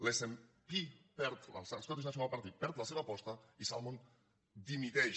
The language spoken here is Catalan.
l’snp l’scottish national party perd la seva aposta i salmond dimiteix